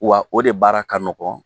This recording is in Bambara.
Wa o de baara ka nɔgɔn